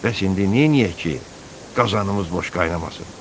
Bəs indi neyləyək ki, qazanımız boş qaynamasın?